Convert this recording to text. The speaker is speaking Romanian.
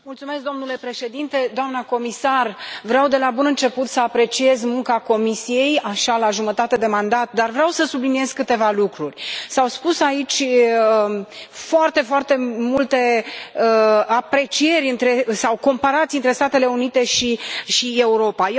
Domnule președinte, doamnă comisar, vreau, de la bun început, să apreciez munca Comisiei, așa, la jumătate de mandat, dar vreau să subliniez câteva lucruri. S au spus aici foarte foarte multe aprecieri sau comparații între Statele Unite și Europa.